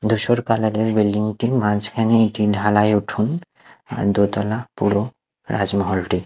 ধূসর কালার -এর বিল্ডিং -টির মাঝখানে একটি ঢালাই উঠোন আর দোতলা পুরো রাজমহলটি।